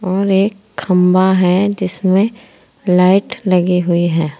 और एक खंभा है जिसमें लाइट लगी हुई है।